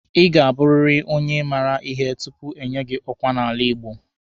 Ị ga-abụrịrị onye maara ihe tupu enye gị ọkwa n'ala Igbo.